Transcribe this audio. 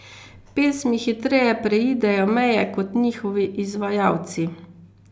Pesmi hitreje preidejo meje kot njihovi izvajalci.